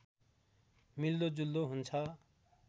मिल्दोजुल्दो हुन्छ